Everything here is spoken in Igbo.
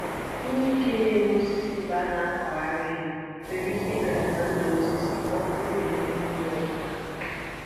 Ihe ike na-eme osisi mgbe a na-akụghari nwere ike i belata ndụ osisi ma ọ bụrụ na emeghị ya ọfụma